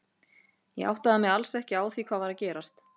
Ég áttaði mig alls ekki á því hvað var að gerast.